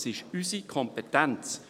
Es ist unsere Kompetenz.